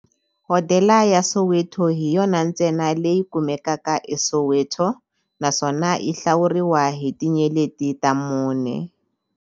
Hodela ya Soweto hi yona ntsena leyi kumekaka eSoweto, naswona yi hlawuriwa hi tinyeleti ta mune.